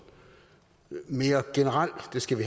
mere generelle